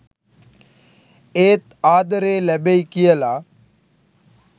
ඒත් ආදරේ ලැබෙයි කියලා.